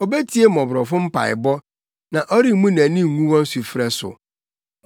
Obetie mmɔborɔfo mpaebɔ; na ɔremmu nʼani ngu wɔn sufrɛ so.